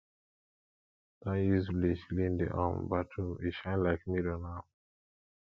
i don use bleach clean di um bathroom e shine like mirror now